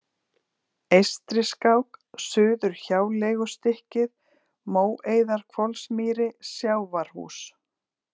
Eystriskák, Suðurhjáleigustykkið, Móeiðarhvolsmýri, Sjávarhús